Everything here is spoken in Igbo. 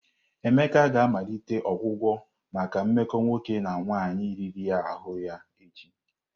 Emeka ga-amalite ọgwụgwọ maka mmekọ nwoke na nwaanyị riri ahụ ya echi.